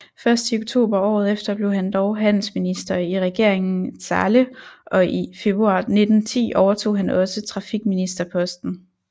Først i oktober året efter blev han dog handelsminister i regeringen Zahle og i februar 1910 overtog han også trafikministerposten